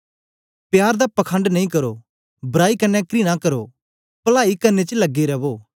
प्यार दा पखंड नेई करो बराई कन्ने घृणा करो पलाई करने च लगे रवो